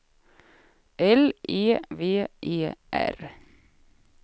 L E V E R